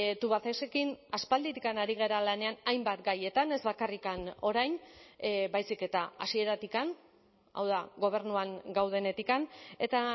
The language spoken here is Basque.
tubacexekin aspalditik ari gara lanean hainbat gaietan ez bakarrik orain baizik eta hasieratik hau da gobernuan gaudenetik eta